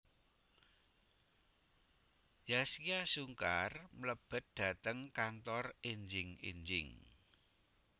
Zaskia Sungkar mlebet dateng kantor enjing enjing